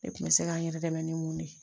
Ne kun bɛ se k'an yɛrɛ dɛmɛ ni mun de ye